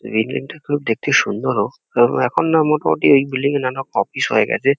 Building -টা খুব দেখতে সুন্দরও। কেননা এখন না মোটামুটি এই বিল্ডিং -এ নানা অফিস হয়ে গেছে।